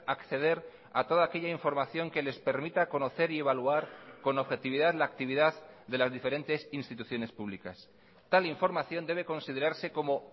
acceder a toda aquella información que les permita conocer y evaluar con objetividad la actividad de las diferentes instituciones públicas tal información debe considerarse como